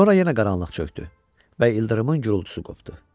Sonra yenə qaranlıq çökdü və ildırımın gurultusu qopdu.